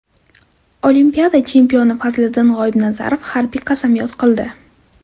Olimpiada chempioni Fazliddin G‘oibnazarov harbiy qasamyod qildi.